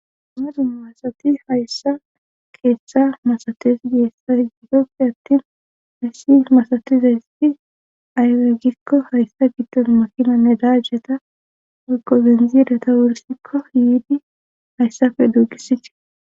Amezu masati hayssa keeththa masates geessa gidoppe attin hayssi masatizaysti aywe gikko hayssa giddon makinanne daajjeta aggo benzireta wursikko yiidi hayssafe duugisitii